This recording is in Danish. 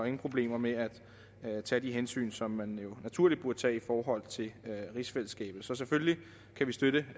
ingen problemer med at tage de hensyn som man jo naturligt burde tage i forhold til rigsfællesskabet så selvfølgelig kan vi støtte